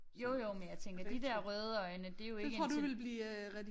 Jo jo men jeg tænker de der røde øjne det jo ikke en ting